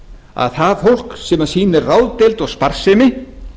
að það fólk sem sýnir ráðdeild og sparsemi